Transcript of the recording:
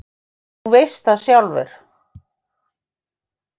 Þú veist það sjálfur.